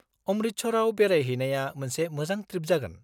-अमृतसरआव बेरायहैनाया मोनसे मोजां ट्रिप जागोन।